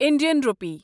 Indian rupee